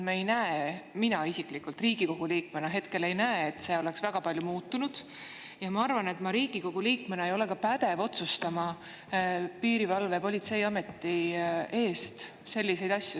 Me ei näe, mina isiklikult Riigikogu liikmena hetkel ei näe, et see oleks väga palju muutunud, ja ma arvan, et ma Riigikogu liikmena ei ole ka pädev otsustama Politsei‑ ja Piirivalveameti eest selliseid asju.